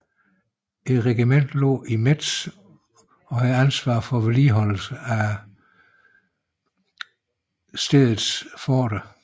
Regimentet lå i Metz og havde ansvar for vedligeholdelsen af stedets forter